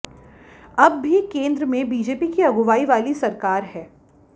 अब भी केंद्र में बीजेपी की अगुवाई वाली सरकार है